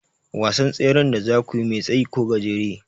Wasan tseren da zakuyi mai tsayi ko gajere?